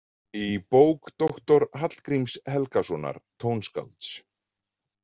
Í bók doktor Hallgríms Helgasonar tónskálds.